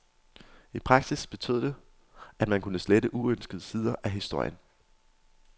I praksis betød det, at man kunne slette uønskede sider af historien.